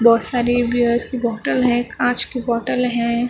बहुत सारी बीयर की बोटल है काँच की बोटल है और।